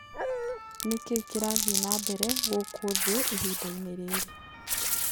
ni kĩĩ kĩrathĩe nambere guku thĩĩĩhĩnda ini riri